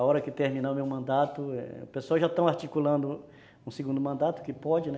A hora que terminar o meu mandato, o pessoal já está articulando um segundo mandato, que pode, né?